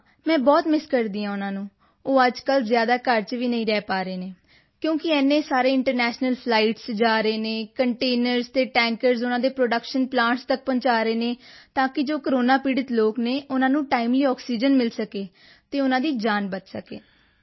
ਹਾਂ ਮੈਂ ਬਹੁਤ ਮਿੱਸ ਕਰਦੀ ਹਾਂ ਉਨ੍ਹਾਂ ਨੂੰ ਉਹ ਅੱਜਕੱਲ੍ਹ ਜ਼ਿਆਦਾ ਘਰ ਵਿੱਚ ਰਹਿ ਵੀ ਨਹੀਂ ਪਾ ਰਹੇ ਹਨ ਕਿਉਂਕਿ ਕਿ ਇੰਨੇ ਸਾਰੇ ਇੰਟਰਨੈਸ਼ਨਲ ਫਲਾਈਟਸ ਵਿੱਚ ਜਾ ਰਹੇ ਹਨ ਅਤੇ ਕੰਟੇਨਰਜ਼ ਤੇ ਟੈਂਕਰਜ਼ ਉਨ੍ਹਾਂ ਦੇ ਪ੍ਰੋਡਕਸ਼ਨ ਪਲਾਂਟਸ ਤੱਕ ਪਹੁੰਚਾ ਰਹੇ ਹਨ ਤਾਂ ਕਿ ਜੋ ਕੋਰੋਨਾ ਪੀੜ੍ਹਤ ਲੋਕ ਹਨ ਉਨ੍ਹਾਂ ਨੂੰ ਟਾਈਮਲੀ ਆਕਸੀਜਨ ਮਿਲ ਸਕੇ ਅਤੇ ਉਨ੍ਹਾਂ ਦੀ ਜਾਨ ਬਚ ਸਕੇ